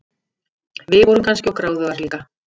Við vorum kannski of gráðugar líka.